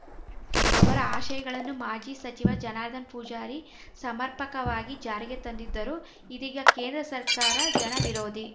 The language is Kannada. ಅವರ ಆಶಯಗಳನ್ನು ಮಾಜಿ ಸಚಿವ ಜನಾರ್ಧನ ಪೂಜಾರಿ ಸಮರ್ಪಕವಾಗಿ ಜಾರಿಗೆ ತಂದಿದ್ದರು ಇದೀಗ ಕೇಂದ್ರ ಸರ್ಕಾರ ಜನವಿರೋಧಿ